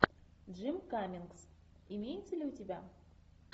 джим каммингс имеется ли у тебя